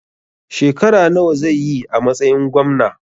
Shekara nawa zai yi a matsayin Gwamna?